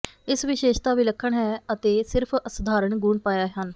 ਇਸ ਵਿਸ਼ੇਸ਼ਤਾ ਵਿਲੱਖਣ ਹੈ ਅਤੇ ਸਿਰਫ ਅਸਧਾਰਨ ਗੁਣ ਪਾਇਆ ਹਨ